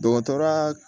Dɔgɔtɔrɔya